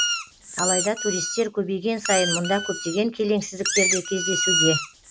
алайда туристер көбейген сайын мұнда көптеген келеңсіздіктер де кездесуде